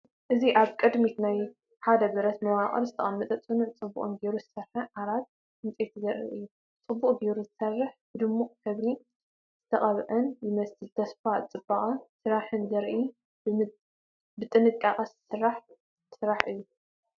እዚ ኣብ ቅድሚት ናይ ሓደ ብረት መዋቕር ዝተቐመጠ ጽኑዕን ጽቡቕ ጌሩ ዝተሰርሐን ዓራት ዕንጨይቲ ዘርኢ እዩ። ጽቡቕ ጌሩ ዝተሰርሐን ብድሙቕ ሕብሪ ዝተቐብአን ይመስል። ተስፋን ጽባቐ ስራሕን ዘርኢ ብጥንቃቐ ዝተሰርሐ ስራሕ እዩ።